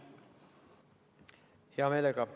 Hea meelega.